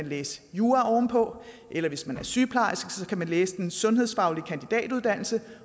læse jura eller hvis man er sygeplejerske kan man læse den sundhedsfaglige kandidatuddannelse